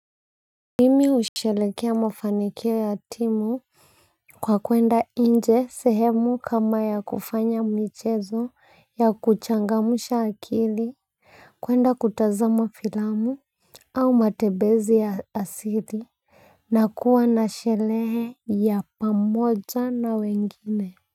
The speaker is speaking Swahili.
Mimi usherehekea mafanikio ya timu kwa kuenda inje sehemu kama ya kufanya michezo ya kuchangamusha akili kuenda kutazama filamu au matebezi ya asili na kuwa na shelehe ya pamoja na wengine.